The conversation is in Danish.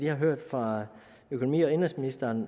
har hørt fra økonomi og indenrigsministeren